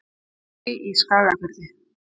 Drangey í Skagafirði.